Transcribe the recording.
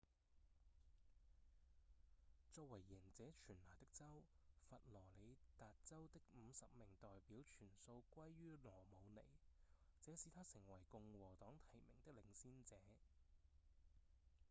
作為贏者全拿的州佛羅里達州的五十名代表全數歸予羅姆尼這使他成為共和黨提名的領先者